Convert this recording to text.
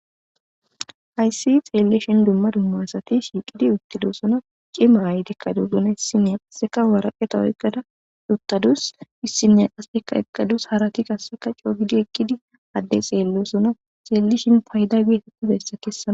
Haysi xeelishin duma duma asati shiiqidi uttidosona cima ayetika utidosona issiniya qaseka woraqata oykada uttadus issiniya qaseka eqadus harati qaseka coo gidiza eqqidosona addey xeelosona xelishin qaseka payda kesosona